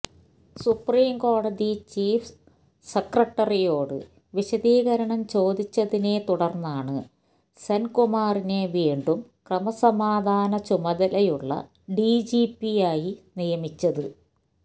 സുപ്രീംകോടതി ചീഫ് സെക്രട്ടറിയോട് വിശദീകരണം ചോദിച്ചതിനെത്തുടര്ന്നാണ് സെന്കുമാറിനെ വീണ്ടും ക്രമസമാധാന ചുമതലയുള്ള ഡിജിപിയായി നിയമിച്ചത്